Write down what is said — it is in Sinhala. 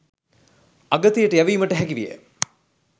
අගතියට යැවීමට හැකි විය.